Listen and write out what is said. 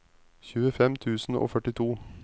tjuefem tusen og førtito